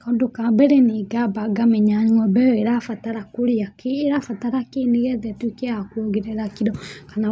Kaũndũ ka mbere nĩ ngamba ngamenya ng'ombe ĩyo irabatara kũrĩa kĩĩ. Ĩrabatara kĩĩ nĩgetha ĩtũĩke ya kũongerera kiro kana